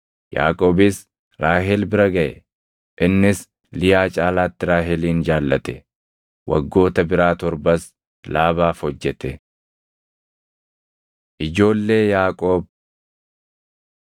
Yaaqoobis Raahel bira gaʼe; innis Liyaa caalaatti Raahelin jaallate. Waggoota biraa torbas Laabaaf hojjete. Ijoollee Yaaqoob